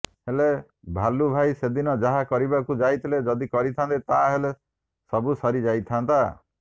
ହେଲେ ଭାଲୁଭାଇ ସେଦିନ ଯାହା କରିବାକୁ ଯାଉଥିଲେ ଯଦି କରିଥାନ୍ତେ ତା ହେଲେ ସବୁ ସରି ଯାଇଥାନ୍ତା